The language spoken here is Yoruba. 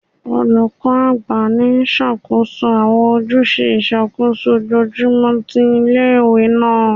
Olukọ agba ni ṣakoso awọn ojuse iṣakoso ojoojumọ ti ile-iwe naa